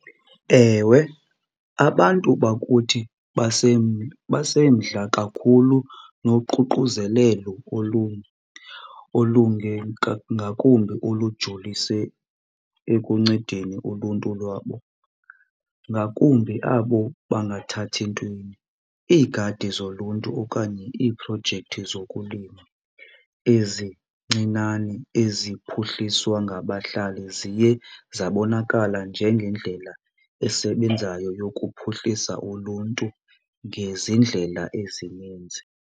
Ewe, abantu bakuthi basemdla kakhulu noququzelelo olungemka, ngakumbi olujolise ekuncedeni uluntu lwabo ngakumbi abo bangathathi ntweni. Iigadi zoluntu okanye iiprojekthi zokulima ezincinane eziphuhliswa ngabahlali ziye zabonakala njengeendlela esebenzayo yokuphuhlisa uluntu ngezindlela ezininzi.